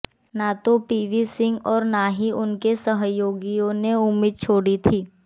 न तो V P Singh और न ही उनके सहयोगियों ने उम्मीद छोड़ी थी